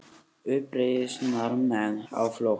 Uppreisnarmenn á flótta